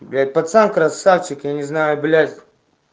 блять пацан красавчик я не знаю блять